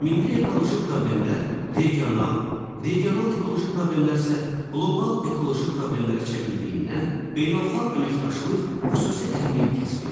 Milli ekoloji problemlər, regional, regional ekoloji problemlər isə qlobal ekoloji problemlərə çevrildiyindən beynəlxalq əməkdaşlıq xüsusi əhəmiyyət kəsb eləyir.